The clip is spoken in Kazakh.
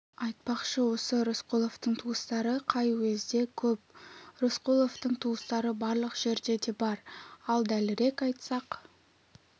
айтпақшы осы рысқұловтың туыстары қай уезде көп рысқұловтың туыстары барлық жерде де бар ал дәлірек айтсақ